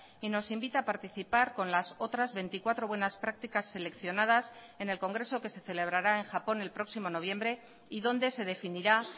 y nos invita a participar con las otras veinticuatro buenas prácticas seleccionadas en el congreso que se celebrará en japón el próximo noviembre y donde se definirá